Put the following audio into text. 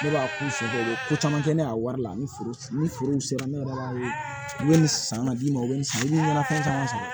Ne b'a k'u sɔrɔ u bɛ ko caman kɛ ne a wari la ni furu sera ne yɛrɛ b'a ye u bɛ nin san ka d'i ma u bɛ nin san i bɛ mana fɛn caman san